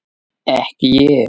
Ekki ég!